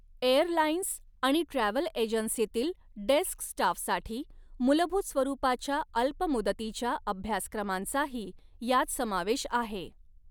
Airlines आणि travel एजन्सीतील desk स्टाफसाठी मूलभूत स्वरूपाच्या अल्प मुदतीच्या अभ्यासक्रमांचाही यात समावेश आहे.